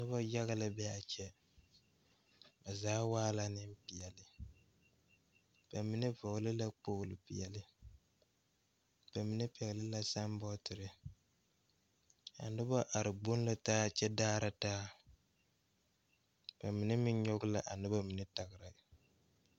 Nobɔ yaga la be a kyɛ ba zaa waa la Neŋpeɛɛle ba mine vɔgle la kpogle peɛɛli ba mine pɛgle la saanbɔɔterre a nobɔ are gboŋ la kyɛ daara taa ba mine meŋ nyoge la a noba mine tagra.